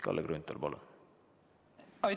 Kalle Grünthal, palun!